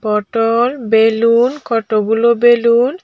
পটল বেলুন কটগুলো বেলুন ।